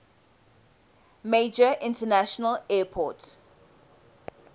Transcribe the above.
major international airport